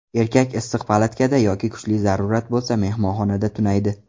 Erkak issiq palatkada yoki kuchli zarurat bo‘lsa, mehmonxonada tunaydi.